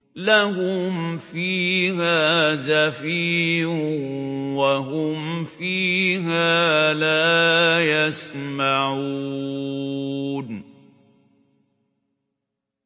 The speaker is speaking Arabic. لَهُمْ فِيهَا زَفِيرٌ وَهُمْ فِيهَا لَا يَسْمَعُونَ